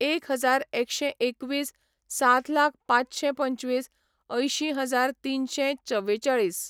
एक हजार एकशें एकवीस, सात लाख पांचशें पंचवीस, अंयशी हजार तिनशें चवेचाळीस,